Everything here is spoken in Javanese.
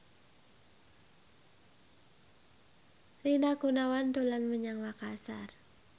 Rina Gunawan dolan menyang Makasar